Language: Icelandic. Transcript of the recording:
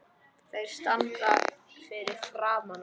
Þeir standa fyrir framan hana.